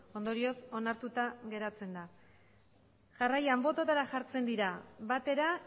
ondorioz onartuta geratzen da jarraian bototara jartzen dira batera